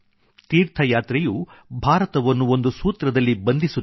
ತೀರ್ಥಯಾತ್ರೆಯು ಭಾರತವನ್ನು ಒಂದು ಸೂತ್ರದಲ್ಲಿ ಬಂಧಿಸುತ್ತದೆ